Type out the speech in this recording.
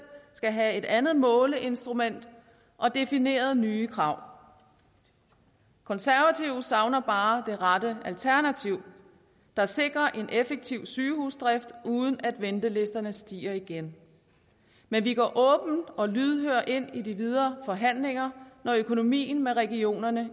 skal have et andet måleinstrument og defineret nye krav konservative savner bare det rette alternativ der sikrer en effektiv sygehusdrift uden at ventelisterne stiger igen men vi går åbne og lydhøre ind i de videre forhandlinger når økonomien med regionerne